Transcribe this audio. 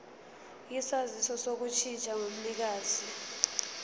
isaziso sokushintsha komnikazi